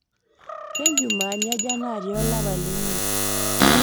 kenjumaani aja naatii olapa leimiet